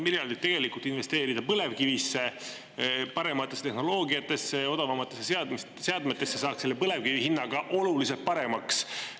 miljardid tegelikult investeerida põlevkivisse, parematesse tehnoloogiatesse, odavamatesse seadmetesse, saaks selle põlevkivi hinna ka oluliselt paremaks.